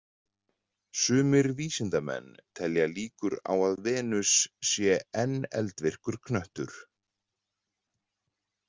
Sumir vísindamenn telja líkur á að Venus sé enn eldvirkur hnöttur.